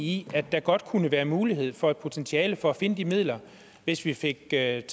i at der godt kunne være mulighed for potentiale for at finde de midler hvis vi fik taget